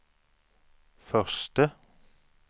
förste